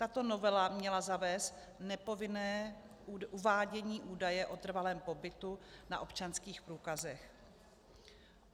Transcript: Tato novela měla zavést nepovinné uvádění údaje o trvalém pobytu na občanských průkazech.